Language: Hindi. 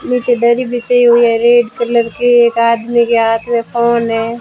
नीचे दरी बिछाई हुई है रेड कलर की एक आदमी के हाथ में फोन है।